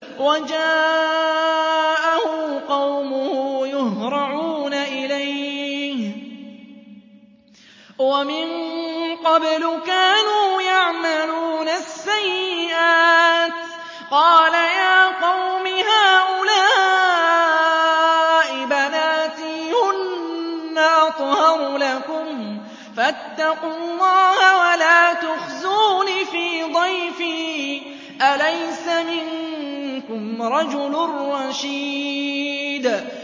وَجَاءَهُ قَوْمُهُ يُهْرَعُونَ إِلَيْهِ وَمِن قَبْلُ كَانُوا يَعْمَلُونَ السَّيِّئَاتِ ۚ قَالَ يَا قَوْمِ هَٰؤُلَاءِ بَنَاتِي هُنَّ أَطْهَرُ لَكُمْ ۖ فَاتَّقُوا اللَّهَ وَلَا تُخْزُونِ فِي ضَيْفِي ۖ أَلَيْسَ مِنكُمْ رَجُلٌ رَّشِيدٌ